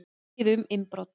Mikið um innbrot